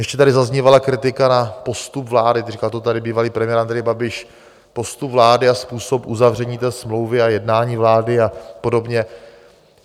Ještě tady zaznívala kritika na postup vlády - říkal to tady bývalý premiér Andrej Babiš - postup vlády a způsob uzavření té smlouvy a jednání vlády a podobně.